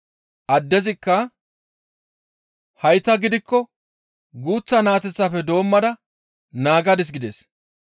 Addezikka, «Hayta gidikko guuth naateteththafe doommada naagadis» gides.